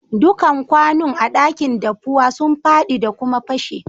Dukan kwanun a'dakin daffuwa sun fadi da kuma pashe.